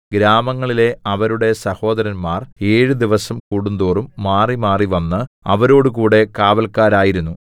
ഗ്രാമങ്ങളിലെ അവരുടെ സഹോദരന്മാർ ഏഴ് ദിവസം കൂടുംതോറും മാറി മാറി വന്നു അവരോടുകൂടെ കാവല്ക്കാരായിരുന്നു